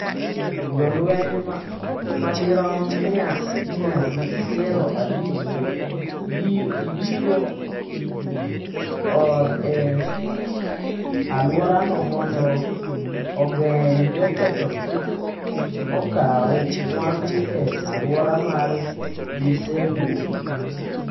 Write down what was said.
Jolweny madirom mia gi piero abich ibiro or e alworano mondo ogeng’ joketho kik okaw mwandu e alwora ma gisewuoke.